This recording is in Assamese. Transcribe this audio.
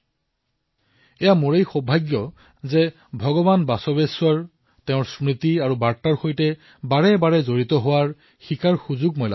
এয়া মোৰ সৌভাগ্য যে মই ভগৱান বশৱেশ্বৰৰ স্মৃতি আৰু তেওঁৰ বাৰ্তাৰ সৈতে বাৰেবাৰে জড়িত হোৱাৰ শিকাৰ সুযোগ লাভ কৰিছো